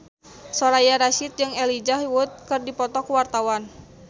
Soraya Rasyid jeung Elijah Wood keur dipoto ku wartawan